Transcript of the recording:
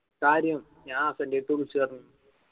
കാര്യം. ഞാൻ ഹസ്സന്റെ അദ്ത് വിളിച് പറഞ്ഞിന്